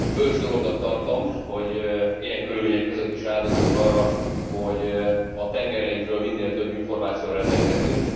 Bölcs dolognak tartom, hogy ilyen körülmények között is áldozunk arra, hogy a tengereinkről minél több információval rendelkezzünk.